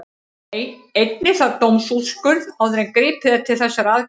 Einnig þarf dómsúrskurð áður en gripið er til þessara aðgerða.